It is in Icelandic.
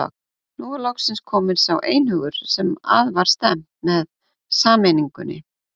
Nú var loksins kominn sá einhugur sem að var stefnt með sameiningunni.